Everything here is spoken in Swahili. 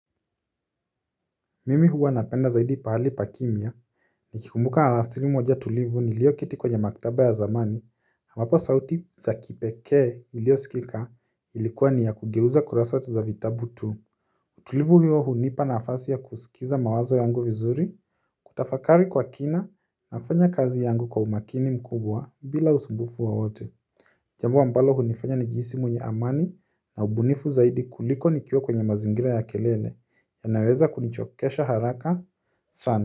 Mimi huwa napenda zaidi pahali pa kimya nikikumbuka alasiri moja tulivu nilio keti kwenye maktaba ya zamani wapo sauti za kipekee ilio sikika ilikuwa ni ya kugeuza kurasa za vitabu tu tulivu hiyo hunipa nafasi ya kusikiza mawazo yangu vizuri kutafakari kwa kina na kufanya kazi yangu kwa umakini mkubwa bila usumbufu wowote jambo ambalo hunifanya nijihisi mwenye amani na ubunifu zaidi kuliko nikiwa kwenye mazingira ya kelele yanaweza kunichokesha haraka sana.